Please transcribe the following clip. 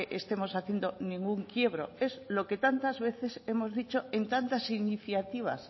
estemos haciendo ningún quiebro es lo que tantas veces hemos dicho en tantas iniciativas